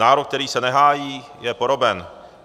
Národ, který se nehájí, je poroben.